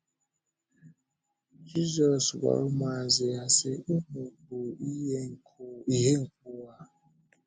Jízọs gwara ụmụazụ ya, sị: “Unu “Unu bụ ìhè nke ụwa.”